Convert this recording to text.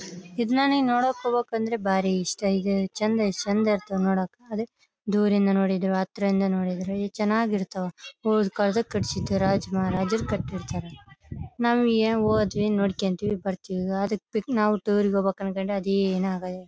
ಇದನ್ನ ನಿನ್ ನೋಡೋಕ್ಕೆ ಹೋಗ್ಬೇಕಂದ್ರೆ ಬಾರಿ ಇಷ್ಟ ಇದೆ ಚೆಂದ ಎಸ್ಟ್ ಚೆಂದ ಎಸ್ಟ್ ಚೆಂದ ಇರ್ತವೆ ನೋಡಕ್ಕ ಅದಿಕ್ಕೆ ದೂರದಿಂದ ನೋಡಿದ್ರು ಹತ್ತಿರದಿಂದ ನೋಡಿದ್ರೆ ಈ ಚೆನಾಗ್ ಇರ್ತಾವ ಹೋದ್ ಕಾಲದಲ್ಲಿ ಕಟ್ಟ್ಸಿರ್ತರ ರಾಜ ಮಹಾರಾಜರು ಕಟ್ಟಿರ್ತಾರೆ ನಮಗೆ ಏನ್ ಹೋದ್ವಿ ನೋಡ್ಕೊಂತೀವಿ ಬರ್ತೀವಿ ಅದ್ಕ ಪಿಕ್ ನಾವು ಟೂರ್ ರಿಗೆ ಹೋಗ್ಬೇಕು --